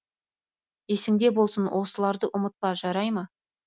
есіңде болсын осыларды ұмытпа жарай ма